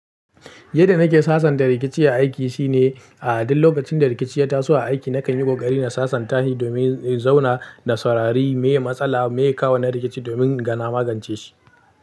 Yadda nake sasanta rikici a aiki shine, ah duk lokacin da rikici ya taso a aiki nakan yi ƙoƙari na sasanta shi domin in zauna na saurari me matsala me kawo na rikici domin na magance shi.